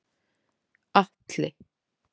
Atli